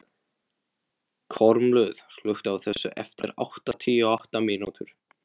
Kormlöð, slökktu á þessu eftir áttatíu og átta mínútur.